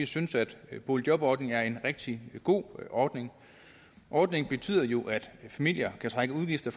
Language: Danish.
synes at boligjobordningen er en rigtig god ordning ordningen betyder jo at familier kan trække udgifter